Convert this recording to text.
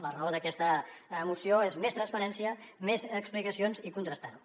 la raó d’aquesta moció és més transparència més explicacions i contrastar ho